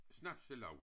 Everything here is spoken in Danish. Snapselaug